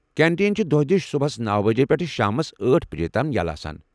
Canteen چھُ دۄہدِش صُبحس نوَ بجہِ پٮ۪ٹھٕ شامس أٹھ بجہِ تام یلیہ آسان۔